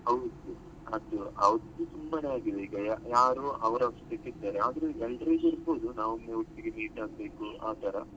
ಹೌದು ಅದು ಅದು ಸುಮ್ಮನೆ ಆಗಿದೆ ಈಗ ಯಾರು ಅವರ್ ಅವರ ಅಷ್ಟಕ್ಕೇ ಇದ್ದಾರೆ ಆದ್ರೂ ಎಲ್ಲಿ ಸಿಕ್ಕುದು ನಾವು meet ಆಗ್ಬೇಕು ಆತರ.